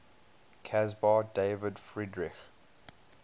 caspar david friedrich